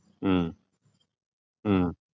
ഉം ഉം